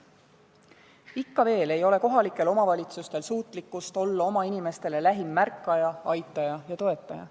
Ikka veel ei ole kohalikel omavalitsustel suutlikkust olla oma inimestele lähim märkaja, aitaja ja toetaja.